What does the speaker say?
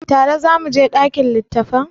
Tare za mu je ɗakin littattafan?